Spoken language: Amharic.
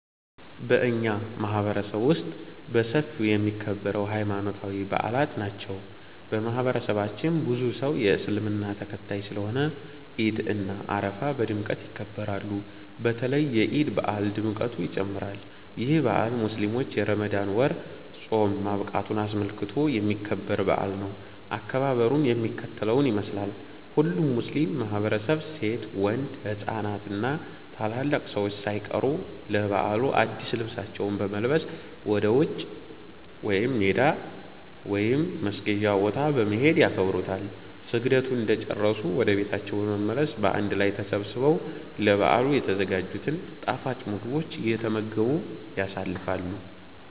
በኛ ማህበረሰብ ውስጥ በሰፊው የሚከበረው ሀይማኖታዊ በአላት ናቸው። በማህበረሰባችን ብዙ ሰው የእስልምና ተከታይ ስለሆነ ዒድ እና አረፋ በድምቀት ይከበራሉ። በተለይ የዒድ በአል ድምቀቱ ይጨምራል። ይህ በአል ሙስሊሞች የረመዳን ወር ፆም ማብቃቱን አስመልክቶ የሚከበር በአል ነው። አከባበሩም የሚከተለውን ይመስላል። ሁሉም ሙስሊም ማህበረሰብ ሴት፣ ወንድ፣ ህፃናት እና ታላላቅ ሰዎች ሳይቀሩ ለበዓሉ አድስ ልብሳቸውን በመልበስ ወደ ውጪ (ሜዳ) ወይም መስገጃ ቦታ በመሄድ ያከብሩታል። ስግደቱን እንደጨረሱ ወደ ቤታቸው በመመለስ በአንድ ላይ ተሰባስበው ለበዓሉ የተዘጋጅቱን ጣፋጭ ምግቦች እየተመገቡ ያሳልፋሉ።